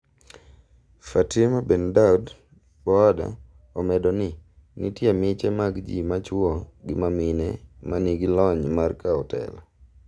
Fatima Bendaud -Boada omedo ni. nitie miche mag ji machuo gi mamine ma nigi lony mar kao telo.